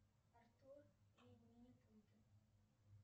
артур и минипуты